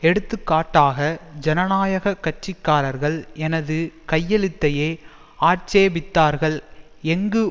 எடுத்துக்காட்டாக ஜனநாயக கட்சி காரர்கள் எனது கையெழுத்தையே ஆட்சேபித்தார்கள் எங்கு